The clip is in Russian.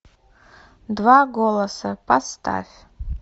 два голоса поставь